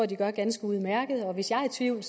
de gør ganske udmærket hvis jeg er i tvivl